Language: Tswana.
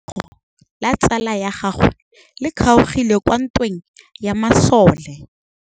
Letsôgô la tsala ya gagwe le kgaogile kwa ntweng ya masole.